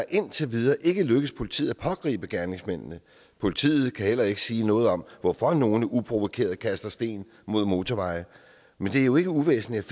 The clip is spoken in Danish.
indtil videre ikke er lykkedes politiet at pågribe gerningsmændene politiet kan heller ikke sige noget om hvorfor nogle uprovokeret kaster sten mod motorveje men det er jo ikke uvæsentligt